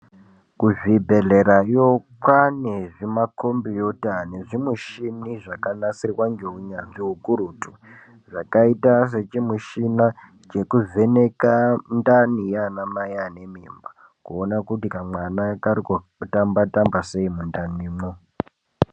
Kuzvibhedhlera kwaane zvimakhombiyuta nezvimushini zvakanasirwa ngeunyanzvi ukurutu zvakaita sechimushina chekuvheneka ndani yaana mai ane mimba kuona kuti kamwana kari kutamba-tamba sei mundanimwo.